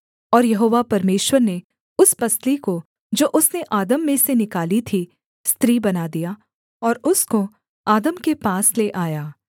और यहोवा परमेश्वर ने उस पसली को जो उसने आदम में से निकाली थी स्त्री बना दिया और उसको आदम के पास ले आया